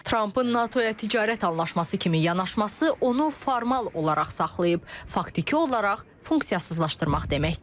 Trampın NATO-ya ticarət anlaşması kimi yanaşması onu formal olaraq saxlayıb faktiki olaraq funksiyasızlaşdırmaq deməkdir.